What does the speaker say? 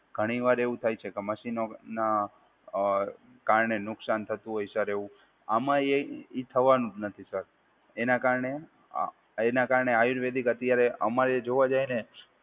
ઘણીવાર એવું થાય છે કે મશીનો ના અ કારણે નુકશાન થતું હોય સર એવું આમાં એ એ થવાનું જ નથી સર. એના કારણે, એના કારણે આયુર્વેદિક અત્યારે અમારે જોવા જાય ને